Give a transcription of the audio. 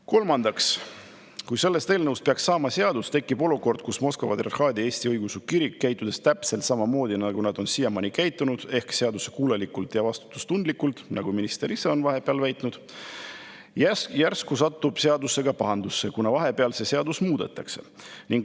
Kolmandaks, kui sellest eelnõust peaks saama seadus, siis tekib olukord, kus Moskva Patriarhaadi Eesti Õigeusu Kirik, käitudes täpselt samamoodi, nagu ta on siiamaani käitunud, ehk seadusekuulelikult ja vastutustundlikult, nagu minister ise on vahepeal öelnud, järsku satub seadusega pahuksisse, kuna nüüd seadust muudetakse.